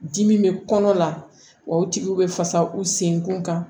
Dimi bɛ kɔnɔ la o tigiw bɛ fasa u senkun kan